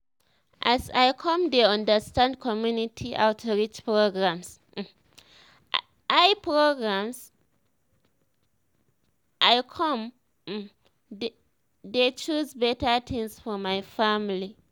as i come dey understand community outreach programs i programs i come um dey choose better things for my family